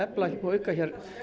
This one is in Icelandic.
auka